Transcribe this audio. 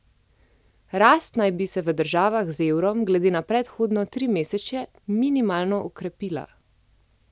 Rast naj bi se v državah z evrom glede na predhodno trimesečje minimalno okrepila.